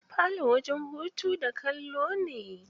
Falo wajen hutu da kallo ne.